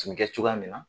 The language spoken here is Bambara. Tun bɛ kɛ cogoya min na